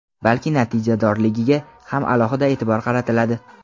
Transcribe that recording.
balki natijadorligiga ham alohida e’tibor qaratiladi.